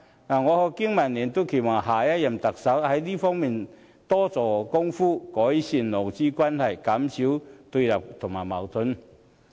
我和經民聯都期待下任特首在這方面多做工夫，改善勞資關係，減少對立和矛盾。